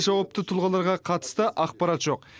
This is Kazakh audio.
жауапты тұлғаларға қатысты ақпарат жоқ